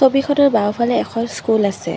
ছবিখনৰ বাওঁফালে এখন স্কুল আছে।